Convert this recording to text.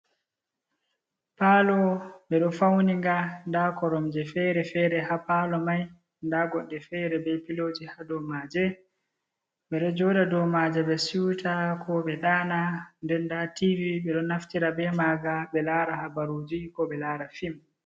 Palo be ɗo fauniga da koromje fere-fere ha palo mai, nda goɗɗe fere be piloji ha domaje. Ɓedo joɗa domaje be siuta kobe dana denda tv be ɗo naftira bei maga be lara habaruji ko be lara fim.